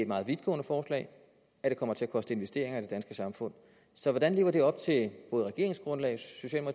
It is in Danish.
meget vidtgående forslag at det kommer til at koste investeringer i det danske samfund så hvordan lever det op til både regeringsgrundlaget og